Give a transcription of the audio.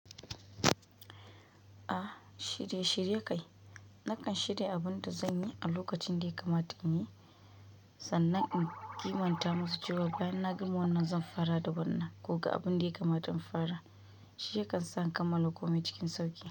A shirye shirye kai. Nakan shirya abin da zanyi a lokacin da ya kamata in yi sannan in kimanta musu cewa bayan na gama wannan zan fara da wannan ko ga abin da ya kamata in fara. Shi yakan sa in kammala komai cikin sauƙi.